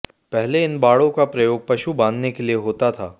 पहले इन बाड़ों का प्रयोग पशु बांधने के लिए होता था